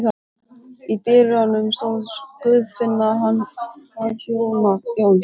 Í dyrunum stóð Guðfinna hans Jóns.